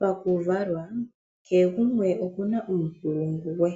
Pakuvalwa kehe gumwe okuna uunkulungu we,